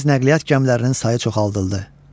Dəniz nəqliyyat gəmilərinin sayı çoxaldıldı.